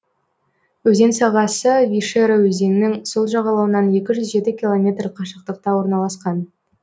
өзен сағасы вишера өзенінің сол жағалауынан екі жүз жеті километр қашықтықта орналасқан